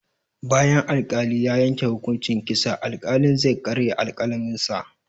Bayan al-kali ya yanke hukunci kitsa, al-kalin zai karya alƙalamin sa